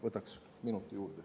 Võtaksin minuti juurde.